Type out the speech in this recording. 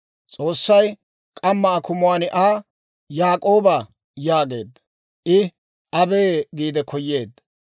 S'oossay k'amma akumuwaan Aa, «Yaak'ooba, Yaak'ooba» yaageedda. I, «abee» giide koyeedda.